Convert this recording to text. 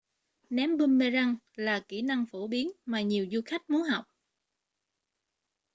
ném boomerang là kỹ năng phổ biến mà nhiều du khách muốn học